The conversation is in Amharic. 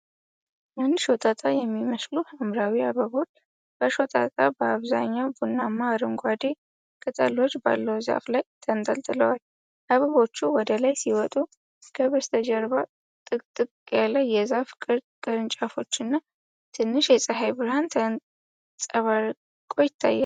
አንድ ሾጣጣ የሚመስሉ ሐምራዊ አበባዎች፣ በሾጣጣና በአብዛኛው ቡናማ-አረንጓዴ ቅጠሎች ባለው ዛፍ ላይ ተንጠልጥለዋል። አበባዎቹ ወደ ላይ ሲወጡ፣ ከበስተጀርባ ጥቅጥቅ ያሉ የዛፍ ቅርንጫፎችና ትንሽ የፀሐይ ብርሃን ተንፀባርቆ ይታያል።